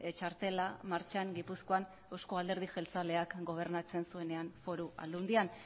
txartela martxan gipuzkoan eusko alderdi jeltzaleak gobernatzen zuenean foru aldundian